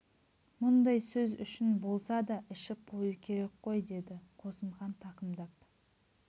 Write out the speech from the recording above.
мұндай сөз үшін болса да ішіп қою керек қой деді қосымхан тақымдап